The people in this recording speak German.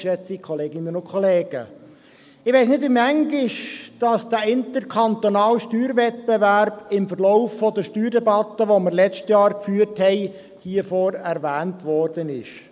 Ich weiss nicht, wie oft der interkantonale Steuerwettbewerb im Verlauf der Steuerdebatte, die wir letztens geführt haben, hier vorne erwähnt worden ist.